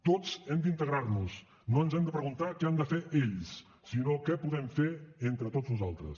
tots hem d’integrar nos no ens hem de preguntar què han de fer ells sinó què podem fer entre tots nosaltres